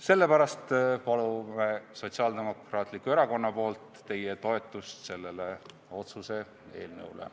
Sellepärast palun Sotsiaaldemokraatliku Erakonna nimel teie toetust sellele otsuse eelnõule.